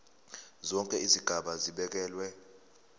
zonke izigaba zibekelwe